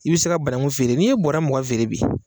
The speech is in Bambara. I bɛ se ka banagun feere n'i ye bɔɔrɔ mugan feere bi